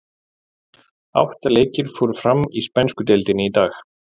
Átta leikir fóru fram í spænsku deildinni í dag.